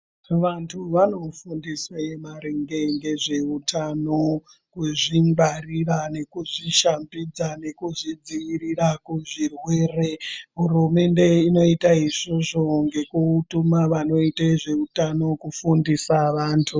Vantu vanofundiswe maringe ngezveutano kuzvigwarira nekuzvishambidza nekuzvidzivirira kuzvirwere hurumende inoita izvozvo ngekutuma vanoita ngezveutano kufundisa vantu.